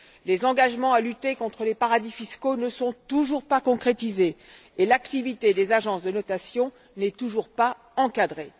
Les engagements à lutter contre les paradis fiscaux ne sont toujours pas concrétisés et l'activité des agences de notation n'est toujours pas encadrée.